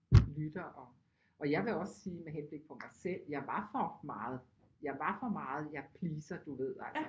Lytter og og jeg vil også sige med henblik på mig selv jeg var for meget jeg var for meget jeg pleaser du ved altså